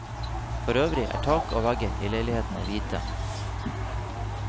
Forøvrig er tak og vegger i leilighetene hvite.